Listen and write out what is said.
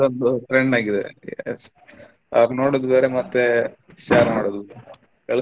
ಅದೊಂದು trend ಆಗಿದೆ yes ಅ ನೋಡುದ ಬೇರೆ ಮತ್ತೆ share ಮಾಡುದು ಬೇರೆ .